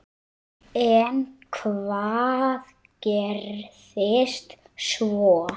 En hvað gerðist svo?